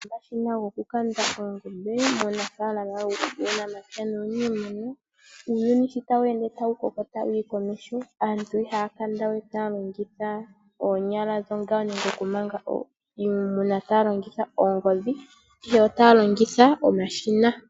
Omashina goku kanda oongombe muunafaalama wuunamapya nuuniimuna. Uuyuni sho tawu ende tawu koko tawuyi komeho aantu ihaya kanda we taya longitha oonyala nenge okumanga iimuna taya lingitha oongodhi ihe otaya longitha omashina.